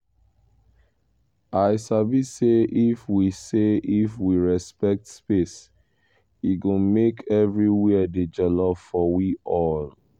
i sabi say if we say if we respect space e go make everywhere dey jolly for we all